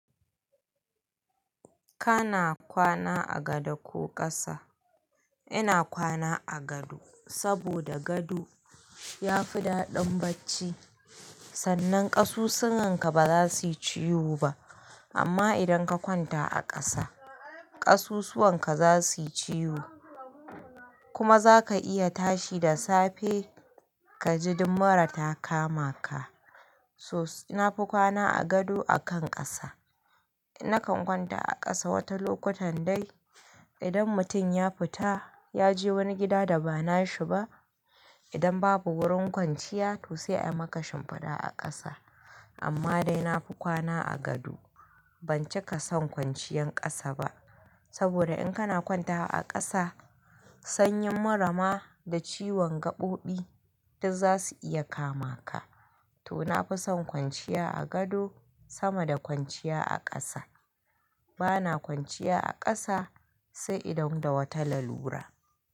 Kana kwana a gado ko ƙasa? Ina kwana a gado saboda gado ya fi daɗin bacci, sannan ƙasusuwanka ba za su yi ciwo ba. Amma idan ka kwanta a ƙasa, ƙasusuwanka za su yi ciwo kuma za ka iya tashi da safe ka ji ɗuk mura ta kama ka. So, na fi kwana a gado akan ƙasa. Nakan kwanta a ƙasa watan lokutan dai. Idan mutum ya fita ya je wani gida da ba nashi ba, idan babu wurin kwanciya, to sai a yi maka shimfiɗa a ƙasa. Amma dai na fi kwana a gado. Ban cika son kwanciyan ƙasa ba saboda in kana kwantawa a ƙasa, sanyin mura ma da ciwon gaɓoɓi duk za su iya kama ka. To, na fi son kwanciya a gado sama da kwanciya a ƙasa. Bana kwanciya a ƙasa sai idan da wata lalura.